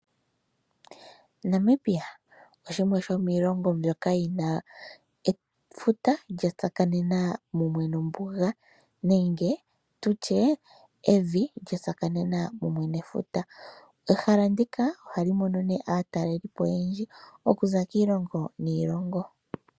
Namibia oshimwe shomiilongo mbyoka yina efuta, lya tsakanena mumwe nombuga, nenge tutye evi lya tsakanena kumwe nefuta. Ehala ndika ohali mono aatalelipo oyendji, okuza kiilongo niilongo.